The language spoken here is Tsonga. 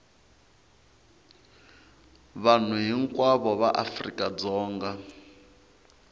vanhu hinkwavo va afrika dzonga